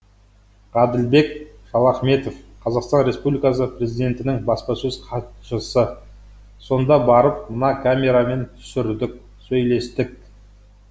ғаділбек шалахметов қазақстан республикасы президентінің баспасөз хатшысы сонда барып мына камерамен түсірдік сөйлестік